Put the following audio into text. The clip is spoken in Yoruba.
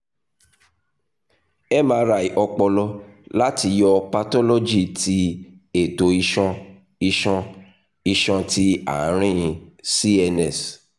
mri ọpọlọ lati yọ pathology ti eto iṣan iṣan iṣan ti aarin cns